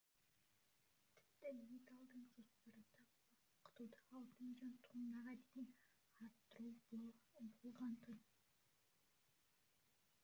тіпті митталдың жоспарында балқытуды алты миллион тоннаға дейін арттыру бол болғантын